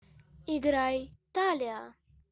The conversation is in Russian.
играй талиа